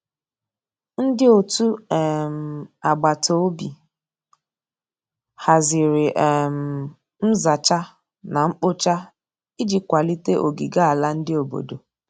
Ndi ọtụ um agbatobi hazịrị um nza cha na nkpo cha iji kwalite ogige ala ndi obodo